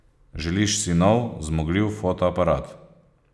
Želiš si nov, zmogljiv fotoaparat.